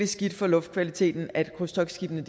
skidt for luftkvaliteten at krydstogtskibene